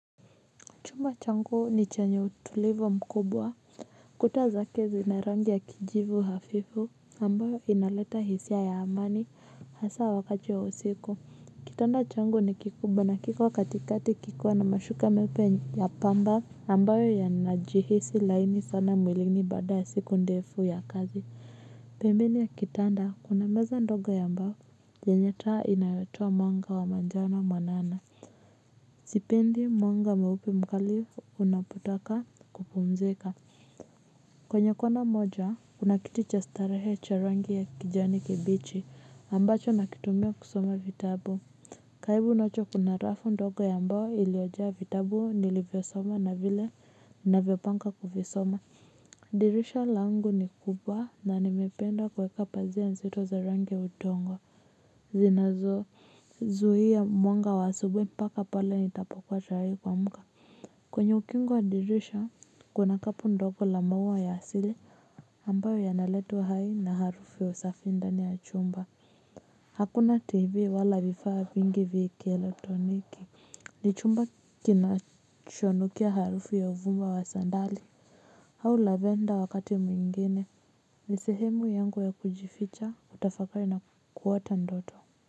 Chumba changu ni chenye utulivu mkubwa kuta zake zina rangi ya kijivu hafifu ambayo inaleta hisia ya amani hasa wakati wa usiku kitanda changu ni kikubwa na kiko katikati kikiwa na mashuka meupe ya pamba ambayo yanajihisi laini sana mwilini baada ya siku ndefu ya kazi pembeni ya kitanda kuna meza ndogo ya mbao yenye taa inayotoa mwanga wa manjano mwanana. Sipendi mwanga mweupe mkali unapotaka kupumzika. Kwenye kona moja kuna kiti cha starehe cha rangi ya kijani kibichi ambacho nakitumia kusoma vitabu. Karibu nacho kuna rafu ndogo ya mbao iliojaa vitabu nilivyosoma na vile ninavyopanga kuvisoma. Dirisha langu ni kubwa na nimependa kuweka pazia nzito za rangi ya udongo zinazozuia mwanga wa asubuhi mpaka pale nitapokuwa tayari kuamka kwenye ukingo wa dirisha kuna kapu ndogo la maua ya asili ambayo yanaleta uhai na harufu ya usafi ndani ya chumba hakuna tv wala vifaa vingi vya kielektroniki ni chumba kinachonukia harufu ya uvumba wa sandali au lavender wakati mwingine ni sehemu yangu ya kujificha kutafakari na kuota ndoto.